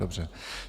Dobře.